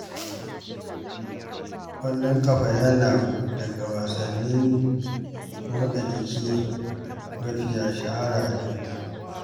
Ƙwallon ƙafa yana daga wasannin motsa jiki mafiya shahara a duniya